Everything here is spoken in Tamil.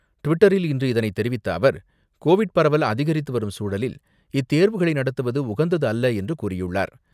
ட்விட்டரில் இன்று இதனை தெரிவித்த அவர், கோவிட் பரவல் அதிகரித்து வரும் சூழலில், இத்தேர்வுகளை நடத்துவது உகந்தது அல்ல என்று கூறியுள்ளார்.